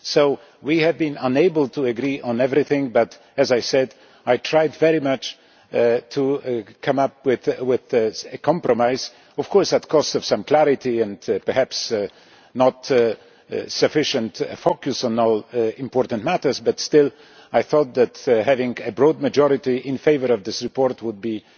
So we have been unable to agree on everything but, as I said, I tried very much to come up with a compromise of course at the cost of some clarity and perhaps insufficient focus on all important matters, but still I thought that having a broad majority in favour of this report would